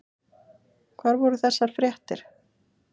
Hvar voru þessar fréttir?